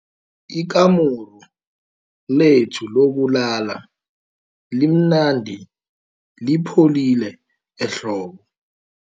Ikamuru lethu lokulala limnandi lipholile ehlobo.